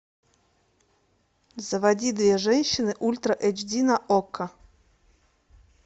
заводи две женщины ультра эйч ди на окко